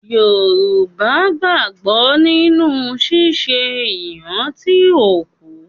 Yoruba gbàgbọ́ nínu ṣíṣe ìrántí òkú.